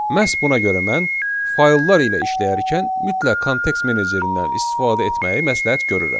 Məhz buna görə mən fayllar ilə işləyərkən mütləq kontekst menecerindən istifadə etməyi məsləhət görürəm.